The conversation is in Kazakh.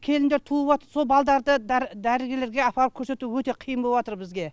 келіндер туып жатыр сол балдарды дәрігерлерге апарып көрсету өте қиын боп жатыр бізге